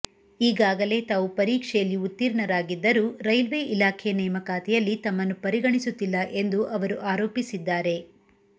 ಈಗಾಗಲೇ ತಾವು ಪರೀಕ್ಷೆಯಲ್ಲಿ ಉತ್ತೀರ್ಣರಾಗಿದ್ದರೂ ರೈಲ್ವೇ ಇಲಾಖೆ ನೇಮಕಾತಿಯಲ್ಲಿ ತಮ್ಮನ್ನು ಪರಿಗಣಿಸುತ್ತಿಲ್ಲ ಎಂದು ಅವರು ಆರೋಪಿಸಿದ್ದಾರೆ